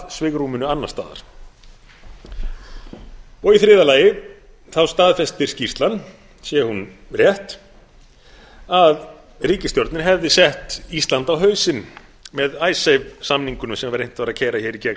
svigrúminu annars staðar í þriðja lagi staðfestir skýrslan sé hún rétt að ríkisstjórnin hefði sett ísland á hausinn með icesave samningunum sem var reynt að keyra hér í gegn